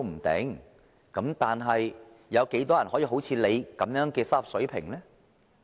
但是，有多少人好像你們有這種收入水平呢？